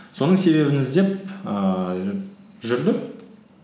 соның себебін іздеп ііі жүрдік